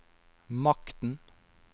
makten